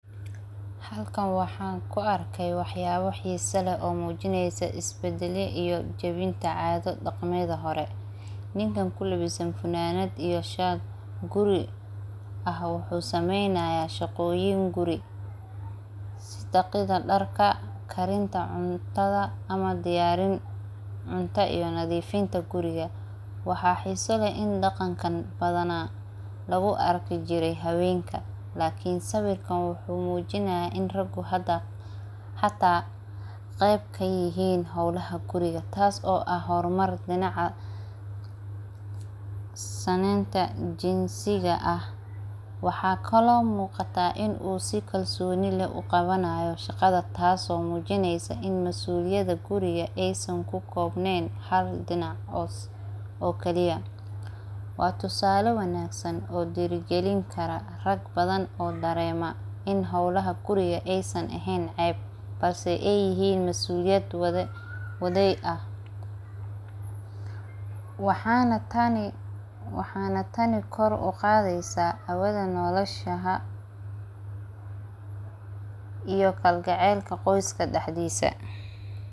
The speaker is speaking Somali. Guriga waxaa jira hawlo badan oo maalin walba lagu qabanayo sida shaqada raadka, nadiifinta daaqadaha, dhigista miiska, darbinta dharka, isku dhigista alaabta, nadiifinta musqusha, toosinta sariiraha, qashinka saarista, cuntada karinta, cabitaanka keentaa, bakhaarrada kala saarista, dhulka nadiifinta, dabka shidista, canaanta shubista, indhaha xirista marka habeenimo, albaabka xidhista, qalabka elektarigga ah ee isticmaalka, biyaha cabitaanka, ubaxa waraabinta, dhirta daryeelinta, daaqadaha nadiifinta, saqafka shuushidista, saabuunta iyo maacuunta isticmaarka.